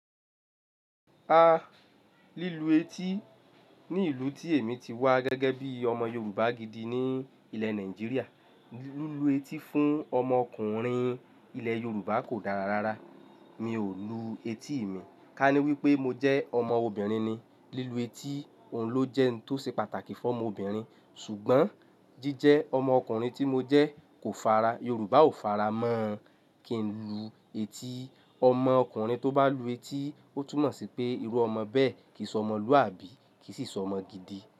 A, lílu etí ní ìlú tí èmi ti wá gẹ́gẹ́ bí ọmọ Yorùbá gidi ní ilẹ̀ Nàìjíríà, lílu etí fún ọmọ ọkùnrin ilẹ̀ Yorùbá kò dára rárá. Mi ò lu etí mi, ká ní wípé mo jẹ́ ọmọ obìnrin ni, lílu etí òun ló jẹ́ ohun tó ṣe pàtàkì fún ọmọ obìnrin ṣùgbọ́n jíjẹ ọmọ ọkùnrin tí mo jẹ́ kò fara, Yorùbá ò fara mọ kin lu etí. Ọmọ ọkùnrin tó bá lu etí ó túmọ̀ sí pé irú ọmọ bẹ́ẹ̀ kì í sọ ọmọlúwàbí kì í sì sọ ọmọ gidi.